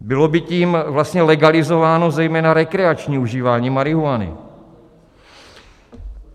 Bylo by tím vlastně legalizováno zejména rekreační užívání marihuany.